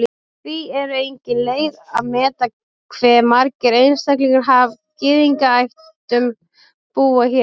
Því er engin leið að meta hve margir einstaklingar af Gyðingaættum búa hér.